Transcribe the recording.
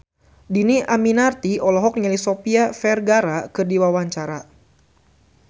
Dhini Aminarti olohok ningali Sofia Vergara keur diwawancara